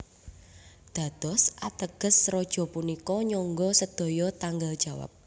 Dados ateges Raja punika nyangga sedaya tanggel jawab